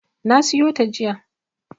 Na siyo ta jiya.